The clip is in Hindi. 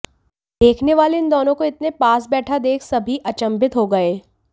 देखने वाले इन दोनों को इतने पास बैठा देख सभी अचंभित हो गए